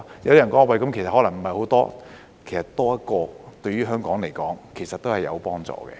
有人覺得人數可能不是很多，其實多一個，對於香港來說，都是有幫助的。